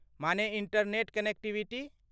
माने internet connectivity?